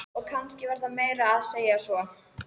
Og kannski var það meira að segja svo.